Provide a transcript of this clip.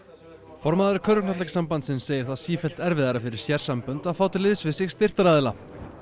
formaður segir það sífellt erfiðara fyrir sérsambönd að fá til liðs við sig styrktaraðila